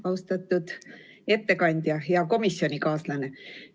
Austatud ettekandja, hea komisjonikaaslane!